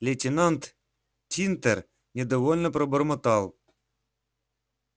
лейтенант тинтер недовольно пробормотал